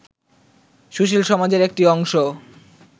সুশীল সমাজের একটি অংশ